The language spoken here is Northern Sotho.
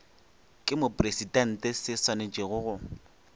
ke mopresidente se swanetše go